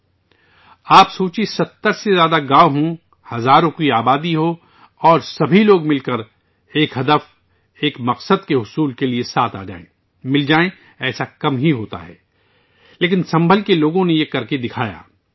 ذرا تصور کریں، اگر 70 سے زیادہ گاؤں ہوں، ہزاروں کی آبادی ہو اور تمام لوگ ایک مقصد، ایک ہدف کو حاصل کرنے کے لیے اکٹھے ہوں، تو یہ ایک نادر واقعہ ہے، لیکن سنبھل کے لوگوں نے ایسا کیا ہے